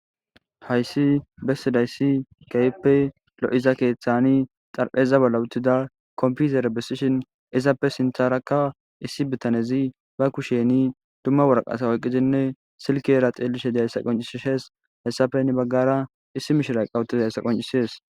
Hayssi bessidayssi kayeppe lo7iza keeththani xarpheza bala wutida kompizere bessishin izappe sintharakka issi bitanezi ba kusheni dumma warqasa woyqqidinne silkeera xeelishe dihayssa qoncisishes hessafenni baggara issi mishira qawutidayssa qoncisees.